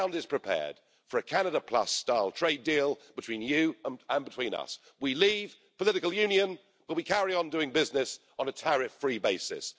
The ground is prepared for a Canada-plus-style trade deal between you and between us. We leave political union but we carry on doing business on a tariff-free basis.